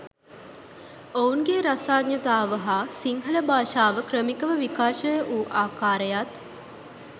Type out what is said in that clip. ඔවුන්ගේ රසාඥතාව හා සිංහල භාෂාව ක්‍රමිකව විකාශය වූ ආකාරයත්